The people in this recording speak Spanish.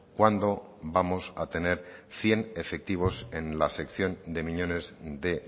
cuándo vamos a tener cien efectivos en la sección de miñones de